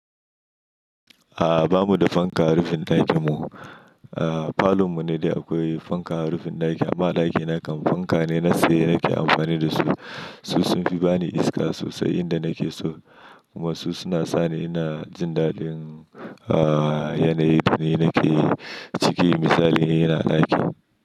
A'a, ba mu da fanka a rufin ɗakin mu. A'a falon mu ne dai akwai fanka a rufin ɗaki amma ɗaki na kam fanka ne na tsaye nake amfani da su. Su sun fi ba ni iska sosai inda nake so kuma su suna sa ni ina jin daɗin a'a yanayin da nake ciki misali yana ɗakin.